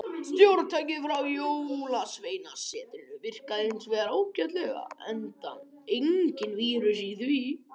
Stjórntækið frá jólsveinasetrinu virkaði hins vegar ágætlega, enda enginn vírus í því.